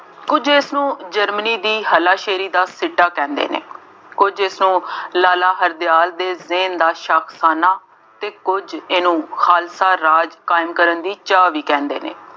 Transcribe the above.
ਕੁੱਝ ਇਸਨੂੰ ਜਰਮਨੀ ਦੀ ਹੱਲਾਸ਼ੇਰੀ ਦਾ ਸਿੱਟਾ ਕਹਿੰਦੇ ਨੇ, ਕੁੱਝ ਇਸਨੂੰ ਲਾਲਾ ਹਰਦਿਆਲ ਦੇ ਜੇਨ ਦਾ ਸ਼ੱਕ ਖਾਨਾ ਅਤੇ ਕੁੱਝ ਇਹਨੂੰ ਖਾਲਸਾ ਰਾਜ ਕਾਇਮ ਕਰਨ ਦੀ ਚਾਅ ਵੀ ਕਹਿੰਦੇ ਨੇ।